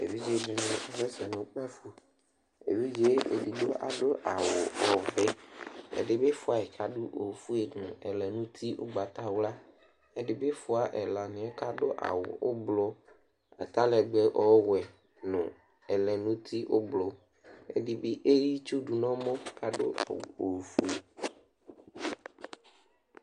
evidze di ni asɛ sɛ no kpafo evidze edigbo ado awu ɔvɛ ɛdi bi fuayi k'ado ofue no ɛlɛnuti ugbata wla ɛdi bi fua ɛlaniɛ k'ado awu ublɔ atalɛgbɛ ɔwɛ no ɛlɛnuti ublɔ ɛdi bi eya itsu do n'ɔmɔ k'ado awu ofue